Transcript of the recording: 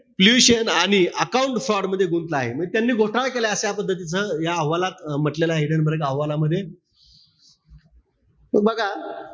आणि account for मध्ये गुंतला आहे. त्यांनी घोटाळा केला. त्या पद्धतीचा या अहवालात म्हण्टलेलं आहे. हिडेनबर्ग अहवालामध्ये. त बघा,